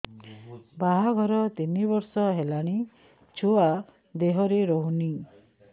ବାହାଘର ତିନି ବର୍ଷ ହେଲାଣି ଛୁଆ ଦେହରେ ରହୁନି